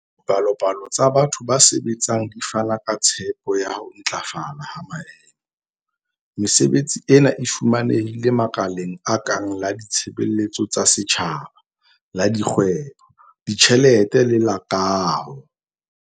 Dipalopalo tsa batho ba sebetsang di fana ka tshepo ya ho ntlafala ha maemo. Mesebetsi ena e fumanehile makaleng a kang la ditshebeletso tsa setjhaba, la dikgwebo, ditjhelete le la kaho.